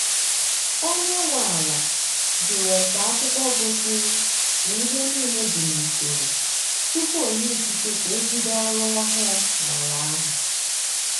Onye nwe ala jụrụ ese akwụkwọ gosiri na ihe niile dị n'usoro tupu onye ikike ka ebido ọrụ ọhụụ n' ala ahụ.